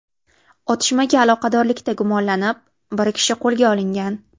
Otishmaga aloqadorlikda gumonlanib, bir kishi qo‘lga olingan.